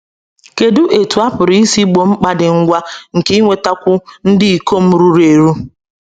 Kedụ etú a pụrụ isi gboo mkpa dị ngwa nke inwetakwu ndị ikom ruru eru?